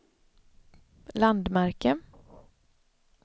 landmärke